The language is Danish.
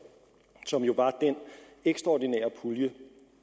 som jo var den ekstraordinære pulje